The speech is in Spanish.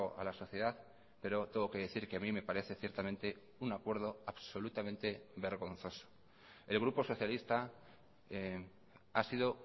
a la sociedad pero tengo que decir que a mí me parece ciertamente un acuerdo absolutamente vergonzoso el grupo socialista ha sido